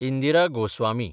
Indira Goswami